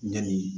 Ɲani